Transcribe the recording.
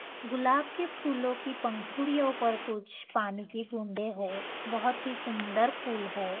गुलाब के फूलों की पंखुड़ियों पर कुछ पानी की बूंदे है बहोत ही सुंदर फूल है।